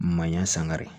Manɲan sankari